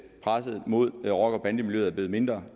presset mod rocker bande miljøet er blevet mindre